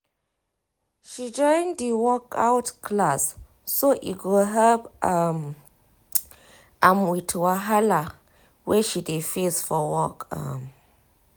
she join di workout class so e go help um am with wahala wey she dey face for work um